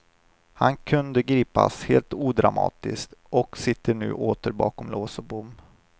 Han kunde gripas helt odramatiskt och sitter nu åter bakom lås och bom.